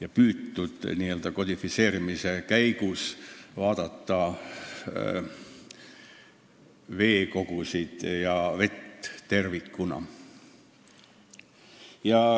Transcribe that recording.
On püütud n-ö kodifitseerimise käigus vaadata veekogusid ja vett tervikuna.